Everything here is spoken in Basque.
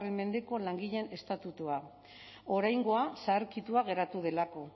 mendeko langileen estatutua oraingoa zaharkitua geratu delako